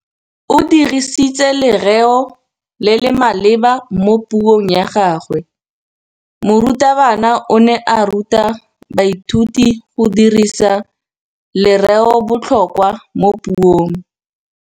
O dirisitse lerêo le le maleba mo puông ya gagwe. Morutabana o ne a ruta baithuti go dirisa lêrêôbotlhôkwa mo puong.